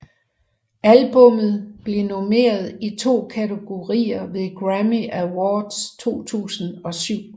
Albummet blev nomineret i to kategorier ved Grammy Awards 2007